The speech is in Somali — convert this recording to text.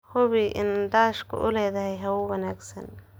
Hubi in daashka uu leeyahay hawo wanaagsan.